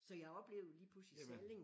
Så jeg oplevede lige pludselig Salling